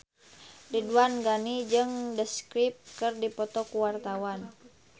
Ridwan Ghani jeung The Script keur dipoto ku wartawan